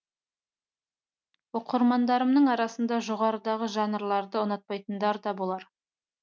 оқырмандарымның арасында жоғарыдағы жанрларды ұнатпайтындар да болар